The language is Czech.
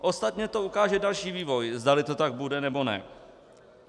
Ostatně to ukáže další vývoj, zdali to tak bude, nebo ne.